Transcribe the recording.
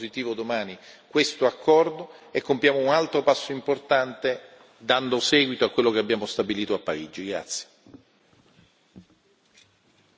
Invito quindi tutti a sostenere, con il voto positivo domani, questo accordo e compiamo un altro passo importante, dando seguito a quello che abbiamo stabilito a Parigi.